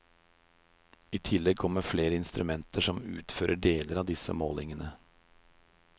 I tillegg kommer flere instrumenter som utfører deler av disse målingene.